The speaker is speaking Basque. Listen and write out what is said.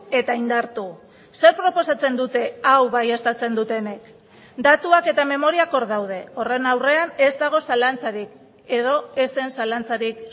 eta indartu zer proposatzen dute hau baieztatzen dutenek datuak eta memoriak hor daude horren aurrean ez dago zalantzarik edo ez zen zalantzarik